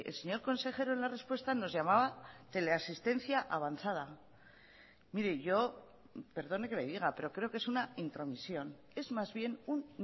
señor consejero en la respuesta nos llamaba teleasistencia avanzada mire yo perdone que le diga pero creo que es una intromisión es más bien un